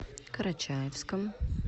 карачаевском